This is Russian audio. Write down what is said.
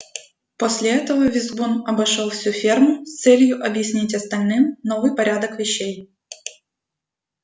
после этого визгун обошёл всю ферму с целью объяснить остальным новый порядок вещей